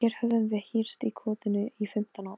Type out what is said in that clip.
Hún reyndi að pumpa mig meira.